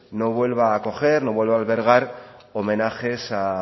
no vuelva a acoger no vuelva albergar homenajes a